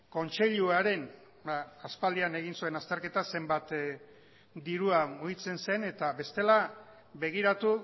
kontseiluaren aspaldian egin zuen azterketa zenbat dirua mugitzen zen eta bestela begiratu